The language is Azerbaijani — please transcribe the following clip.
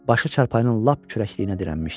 Başı çarpayının lap kürəkliyinə dirənmişdi.